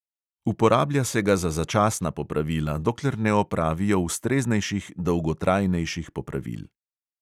Uporablja se ga za začasna popravila, dokler ne opravijo ustreznejših dolgotrajnejših popravil.